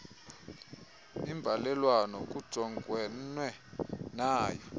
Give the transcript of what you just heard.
imbalelwano kujongenwe nayo